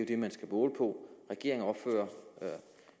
det man skal måle på regeringen opfører